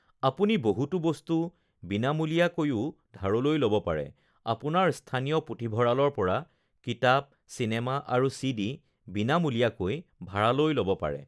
আপুনি বহুতো বস্তু বিনামূলীয়াকৈও ধাৰলৈ ল'ব পাৰে: আপোনাৰ স্থানীয় পুথিভঁৰালৰ পৰা কিতাপ, চিনেমা আৰু চিডি বিনামূলীয়াকৈ ভাড়ালৈ ল'ব পাৰে!